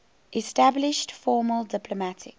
established formal diplomatic